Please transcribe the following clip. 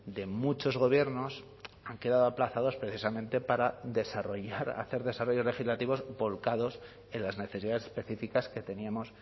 de muchos gobiernos han quedado aplazados precisamente para desarrollar hacer desarrollos legislativos volcados en las necesidades específicas que teníamos